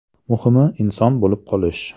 Muhimi inson bo‘lib qolish.